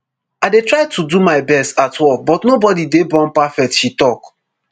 i dey try to do my best at work but nobody dey born perfect she tok